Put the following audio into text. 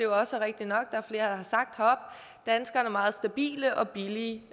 også rigtigt har sagt danskerne meget stabile og billige